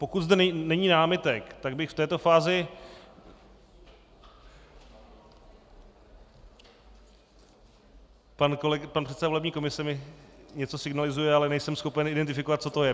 Pokud zde není námitek, tak bych v této fázi - pan předseda volební komise mi něco signalizuje, ale nejsem schopen identifikovat, co to je.